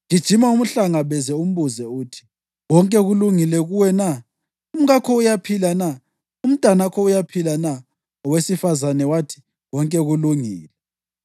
Gijima umhlangabeze umbuze uthi, ‘Konke kulungile kuwe na? Umkakho uyaphila na? Umntanakho uyaphila na?’ ” Owesifazane wathi, “Konke kulungile.”